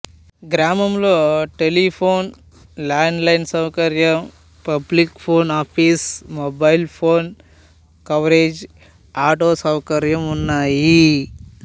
గ్రామంలో telephone land line సౌకర్యం public phone office mobile phone coverage auto సౌకర్యం ఉన్నాయి